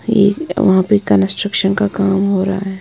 ये वहां पे कंस्ट्रक्शन का काम हो रहा है।